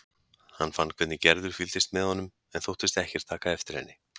Hann fann hvernig Gerður fylgdist með honum en þóttist ekkert taka eftir henni.